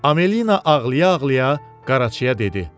Amelina ağlaya-ağlaya Qaraçıya dedi: